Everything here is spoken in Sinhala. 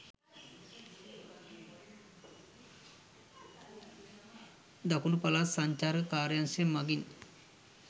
දකුණු පළාත් සංචාරක කාර්යාංශය මගින්